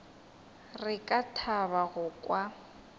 re ka thaba go kwa